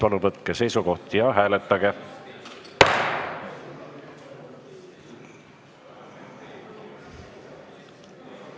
Palun võtke seisukoht ja hääletage!